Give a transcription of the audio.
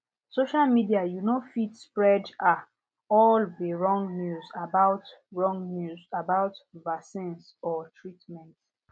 social media you no fit spread ah all be wrong news about wrong news about vaccines or treatment